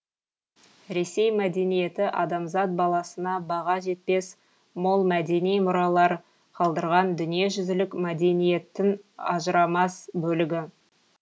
ресей мәдениеті адамзат баласына баға жетпес мол мәдени мұралар қалдырған дүниежүзілік мәдениеттің ажырамас бөлігі